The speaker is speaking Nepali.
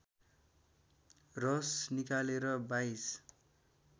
रस निकालेर २२